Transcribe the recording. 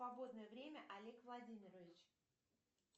свободное время олег владимирович